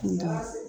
Nka